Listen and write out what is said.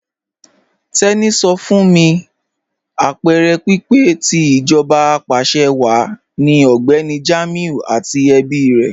Teni sọ fún mí apẹẹrẹ pípẹ̀ tì íjọba apàṣẹwàá ni Ọgbẹni Jamiu àti ẹ̀bí rè.